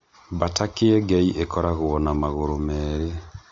Mbata kĩengei ĩkoragwo na magũrũ merĩ.